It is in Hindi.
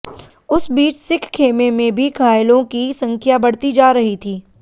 उस बीच सिख ख़ेमे में भी घायलों की संख्या बढ़ती जा रही थी